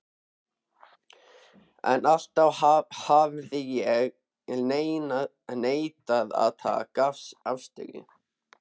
En alltaf hafði ég neitað að taka afstöðu.